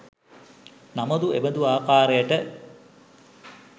නමුත් එබඳු ආකාරයකට